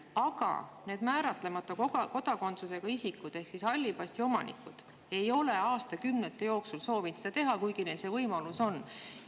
Aga need määratlemata kodakondsusega isikud ehk siis halli passi omanikud ei ole aastakümnete jooksul soovinud seda teha, kuigi neil see võimalus on.